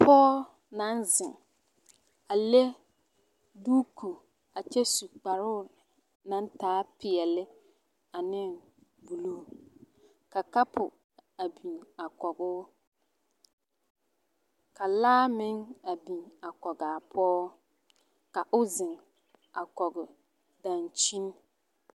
Pɔge naŋ zeŋ a le duuku a kyɛ su kparoo naŋ taa peɛle and buluu ka kapo a biŋ a kɔgoo ka laa meŋ a biŋ a kɔgaa pɔge ka o zeŋ a kɔge dankyini.